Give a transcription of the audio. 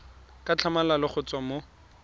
ka tlhamalalo go tswa mo